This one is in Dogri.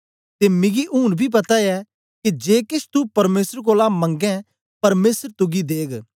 ते मिगी ऊन बी पता ऐ के जे केछ तू परमेसर कोलां मंगै परमेसर तुगी देग